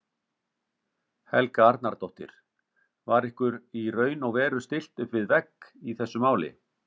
Helga Arnardóttir: Var ykkur í raun og veru stillt upp við vegg í þessu máli?